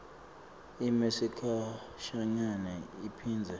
ime sikhashanyana iphindze